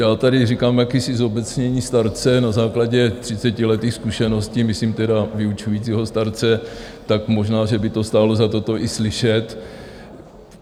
Já tady říkám jakési zobecnění starce na základě třicetiletých zkušeností, myslím tedy vyučujícího starce, tak možná, že by to stálo za to, to i slyšet.